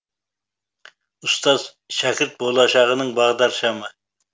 ұстаз шәкірт болашағының бағдаршамы